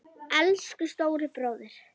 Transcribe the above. Elsku stóri bróðir.